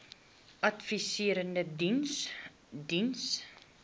adviserende diens diens